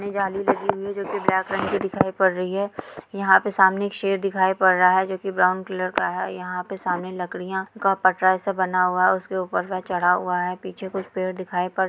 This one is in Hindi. जाली लगी हुई है जो की ब्लैक रंग की दिखाई पड़ रही है|यहाँ पर सामने एक शेर दिखाई पड़ रहा है जोकि ब्राउन कलर का है| यहाँ पर सामने लकड़ियां का पटरा जैसा बना हुआ उसके ऊपर में चढ़ा हुआ है | पीछे कुछ पेड़ दिखाई पड़ --